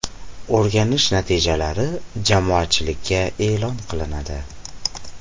O‘rganishi natijalari jamoatchilikka e’lon qilinadi.